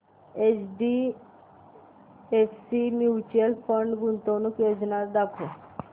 HDFC mutual fund गुंतवणूक योजना दाखव